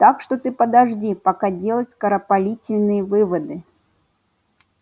так что ты подожди пока делать скоропалительные выводы